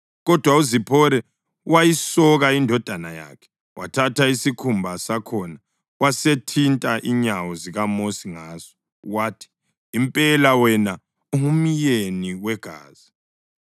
Kodwa uZiphora wayisoka indodana yakhe, wathatha isikhumba sakhona wasethinta inyawo zikaMosi ngaso. Wathi, “Impela wena ungumyeni wegazi.”